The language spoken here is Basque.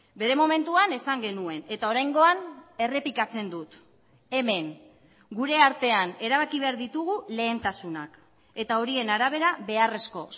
bere momentuan esan genuen eta oraingoan errepikatzen dut hemen gure artean erabaki behar ditugu lehentasunak eta horien arabera beharrezko